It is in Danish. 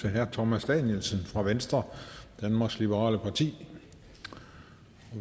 til herre thomas danielsen fra venstre danmarks liberale parti og